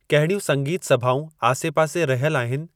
कहिड़ियूं संगीत सभाऊं आसे-पासे रहियल आहिनि